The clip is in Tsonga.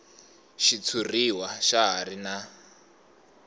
xitshuriwa xa ha ri na